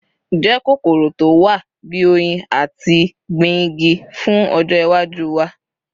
Je kokoro to wa bi “oyin” ati gbin igi fun ojo iwaju wa